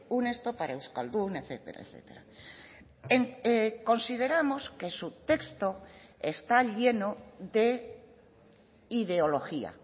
un esto para euskaldun etcétera etcétera consideramos que su texto está lleno de ideología